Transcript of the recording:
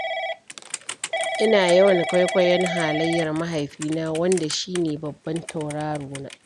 Ina yawan kwaikwayon halayyar mahaifina, wanda shi ne babban taurarona.